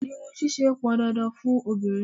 Irun ṣíṣe pọn dandan fun obìnrin.